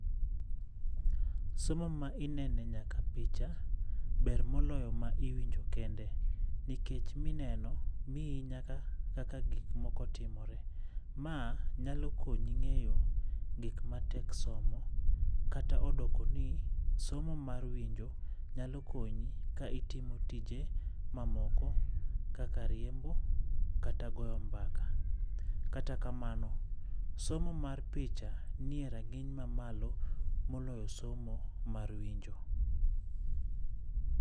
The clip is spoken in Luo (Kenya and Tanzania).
Somo ma inene nyaka picha, ber moloyo ma iwinjo kende, nikech mineno mii nyaka kaka gik moko timore. Ma nyalo konyi ng'eyo gik ma tek somo kata odoko ni somo mar winjo nyalo konyi ka itimo tije mamoko kaka riembo kata goyo mbaka. Kata kamano, somo mar picha nie rang'iny mamalo moloyo somo mar winjo.